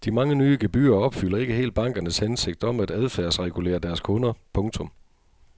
De mange nye gebyrer opfylder ikke helt bankernes hensigt om at adfærdsregulere deres kunder. punktum